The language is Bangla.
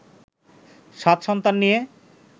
সাত সন্তান নিয়ে